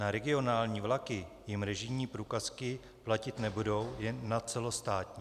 Na regionální vlaky jim režijní průkazky platit nebudou, jen na celostátní.